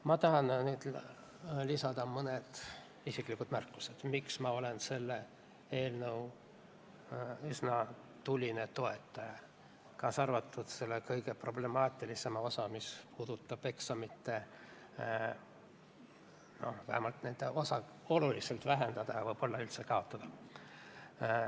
Ma tahan lisada mõned isiklikud märkused, miks ma olen selle eelnõu üsna tuline toetaja, kaasa arvatud selle kõige problemaatilisema osa, mis puudutab eksamite osa olulist vähendamist ja võib-olla üldse nende kaotamist.